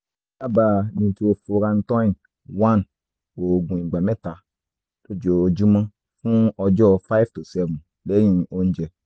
mo dábàá nitrofurantoin one òògùn ìgbà mẹ́ta lójúmọ́ fún ọjọ́ five si seven lẹ́yìn oúnjẹ